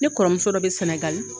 Ne kɔrɔmuso dɔ bi senegali